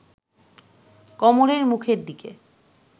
কমলের মুখের দিকে